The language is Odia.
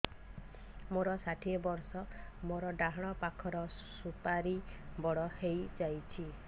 ମୋର ଷାଠିଏ ବର୍ଷ ମୋର ଡାହାଣ ପାଖ ସୁପାରୀ ବଡ ହୈ ଯାଇଛ